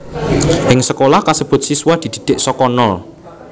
Ing sekolah kasebut siswa didhidhik saka nol